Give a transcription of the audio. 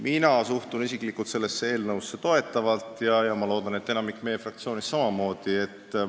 Mina isiklikult suhtun sellesse toetavalt ja ma loodan, et enamik meie fraktsioonist samamoodi.